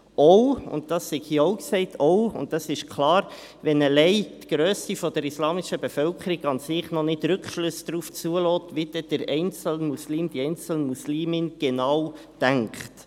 Dies auch, wenn allein die Grösse der islamischen Bevölkerung nicht Rückschlüsse darauf zulässt, wie der einzelne Muslime oder die einzelne Muslimin genau denkt.